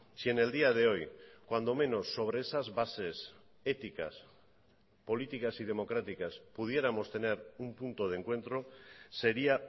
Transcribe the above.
si en el día de hoy cuando menos sobre esas bases éticas políticas y democráticas pudiéramos tener un punto de encuentro sería